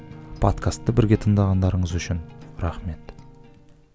подкасты бірге тыңдағандарыңыз үшін рахмет